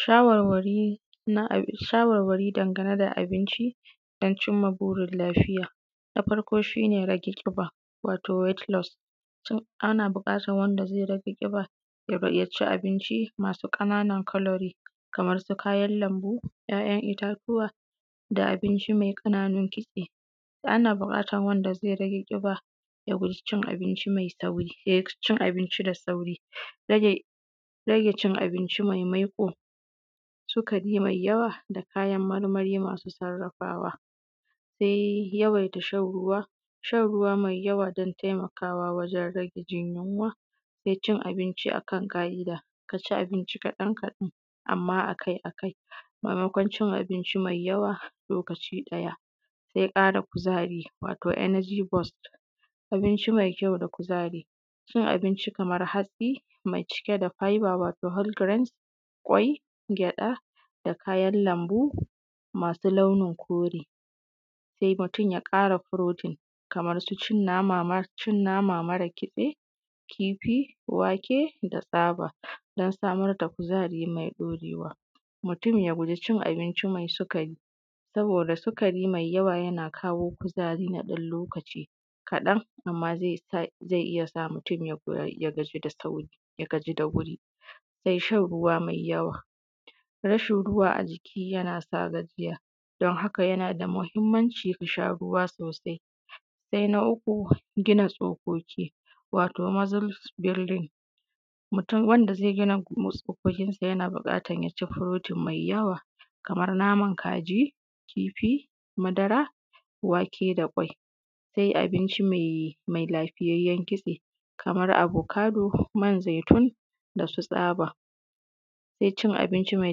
Shawarwari game da abinci don cin wa burin lafiya na farko shi ne rage ƙiba wato wet los ana buƙatan wanda zai rage ƙiba ya ci abinci masu ƙanan kalorid ko kayan lanbu ‘ya’yan itatuwa da abinci me ƙananun kitse ana buƙatan wanda zai rage ƙiba ya guje cin abinci da sauri rage cin abinci mai maiƙo sikari me yawa kayan marmari masu sarrafawa se yawaita shan ruwa shan ruwa me yawa kan taimakawa wajen rage jin yunwa da cin abinci akan kari ka ci abinci kaɗan kaɗan amma akai akai sakamakon cin abinci me yawa a lokaci ɗaya ze ƙara kuzari ko enegi boks abinci me kyau da kuzari cin abinci Kaman hatsi me cike da faiba wato hab giren kwai gyaɗa da kayan lanbo masu launin kore sai mutum ya ƙara furutin da su cin nama mara kitse kifi wake da tsaba don samar da kuzari mai ɗaurewa mutum ya guje cin abinci me sikari saboda sikari me yawa yana kawu kuzari na ɗan lokaci kaɗan amma zai iya sa mutum ya gaji da sauri ya gaji da wuri shan ruwa mai yawa rashin ruwa a jiki yana sa gajiya haka yana da mahimmanci ka sha ruwa sosai sai na uku gina tsokoki wato mozils bulding wanda zai gina musu tsokoki yana buƙatan ya ci furutin mai yawa kamar naman kaji kifi madara wake da kwai da dai abinci me lafiyayyen kitse kamar abokado ko man zaitun da su tsaba sai cin abinci me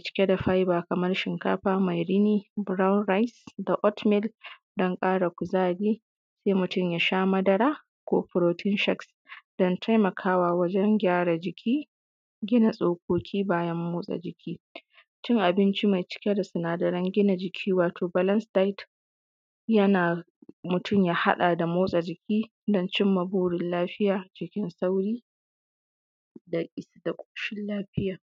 cike da su faiba kamar shinkafa me rini braun rice da ort mill don ƙara kuzari sai mutum ya sha madara ko furutin shinkafa na taimakawa wajen kyara jiki, gina tsokoki bayan motsa jiki cin abinci me cike da sinadaren gina jiki wato balans dajt mutum ya haɗa da motsa jiki don cin maborin lafiya cikin sauri da ƙoshin lafiya.